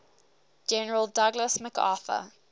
general douglas macarthur